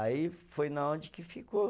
Aí foi na onde que ficou.